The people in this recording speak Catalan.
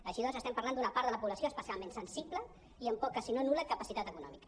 així doncs estem parlant d’una part de la població especialment sensi·ble i amb poca sinó nul·la capacitat econòmica